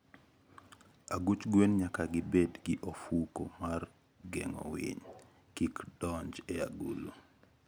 Aguch gwen nyaka gibed gi ofuko mar geng'o winy kik donj e agulu.